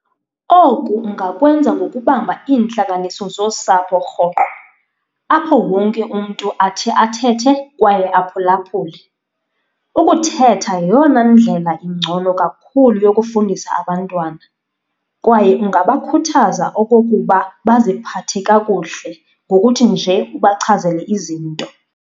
Oku ungakwenza ngokubamba iintlanganiso zosapho rhoqo, apho wonke umntu athi athethe kwaye aphulaphule. Ukuthetha yeyona ndlela ingcono kakhulu yokufundisa abantwana, kwaye ungabakhuthaza okokuba baziphathe kakuhle ngokuthi nje ubachazele izinto.